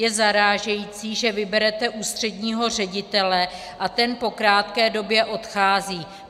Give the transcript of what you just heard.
Je zarážející, že vyberete ústředního ředitele a ten po krátké době odchází.